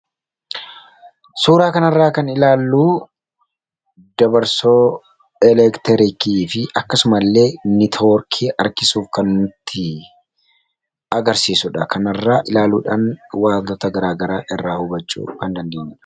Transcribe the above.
suuraa kanarraa kan ilaalluu dabarsoo elektrikii fi akkasumaillee nitiworkii harkisuuf kan itti agarsiisuudha. Kanarra ilaaluudhaan waantoota garaagara irraa hubachuu kan dandeenyudha.